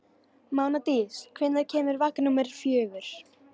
Mánadís, hvenær kemur vagn númer fjögur?